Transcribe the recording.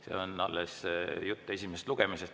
See on alles jutt esimesest lugemisest.